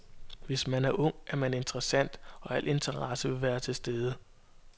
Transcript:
Hvis man er ung er man interessant, og al interesse vil være til stede.